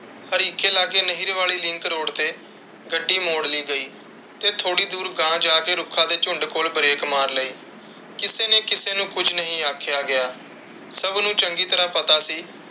ਹਰੀਕੇ ਲਾਗੇ ਨਹਿਰ ਵਾਲੀ ਤੇ ਲਿੰਕ ਰੋਡ ਤੇ ਗੱਡੀ ਮੋੜ ਲਈ ਗਈ। ਤੇ ਥੋੜੀ ਦੂਰ ਗਾਂਹ ਜਾ ਕੇ ਰੁੱਖਾਂ ਦੇ ਝੁੰਡ ਕੋਲ ਬ੍ਰੇਕ ਮਾਰ ਲਈ। ਕਿਸੇ ਨੇ ਕਿਸੇ ਨੂੰ ਕੁਛ ਨਹੀਂ ਆਖਿਆ ਗਿਆ। ਸਬ ਨੂੰ ਚੰਗੀ ਤਰਾਹ ਪਤਾ ਸੀ।